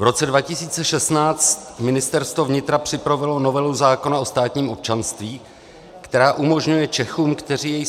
V roce 2016 Ministerstvo vnitra připravilo novelu zákona o státním občanství, která umožňuje Čechům, kteří